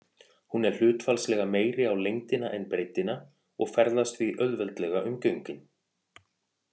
Hún er hlutfallslega meiri á lengdina en breiddina og ferðast því auðveldlega um göngin.